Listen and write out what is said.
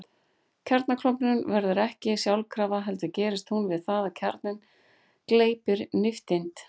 Kjarnaklofnun verður ekki sjálfkrafa heldur gerist hún við það að kjarninn gleypir nifteind.